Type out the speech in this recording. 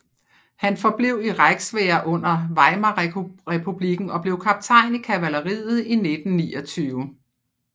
Han forblev i Reichswehr under Weimarrepublikken og blev kaptajn i kavalleriet i 1929